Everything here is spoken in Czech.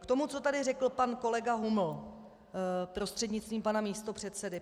K tomu, co tady řekl pan kolega Huml prostřednictvím pana místopředsedy.